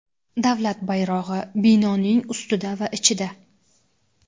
Davlat bayrog‘i (binoning ustida va ichida);.